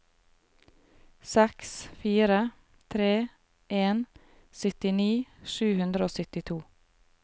seks fire tre en syttini sju hundre og syttito